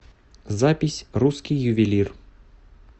запись русский ювелир